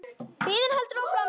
Biðin heldur áfram.